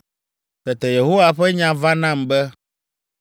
Tete Yehowa ƒe nya va nam be,